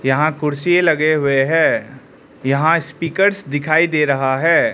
यहाँ कुर्सीए लगे हुए हैं यहाँ स्पीकर्स दिखाइ दे रहा है।